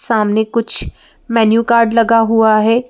सामने कुछ menu card लगा हुआ है।